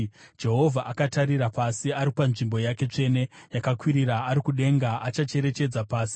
“Jehovha akatarira pasi ari panzvimbo yake tsvene yakakwirira, ari kudenga akacherechedza pasi,